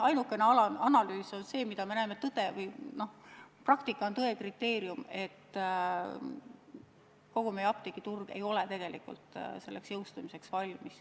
Ainukene analüüs on see, mida me näeme – praktika on tõe kriteerium – ja mis viitab, et kogu meie apteegiturg ei ole tegelikult selleks jõustumiseks valmis.